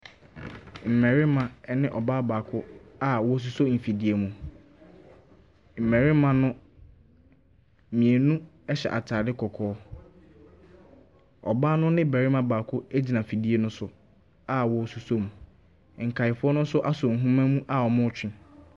Mmarima ɛne ɔbaa baako a wɔsosɔ mfidie mu. Mmarima no, mmienu ɛhyɛ ataade kɔkɔɔ. Ɔbaa no ne barima baako egyina afidie no so a wɔso som. Nkae fo no asɔ ahoma mu a wɔtwe.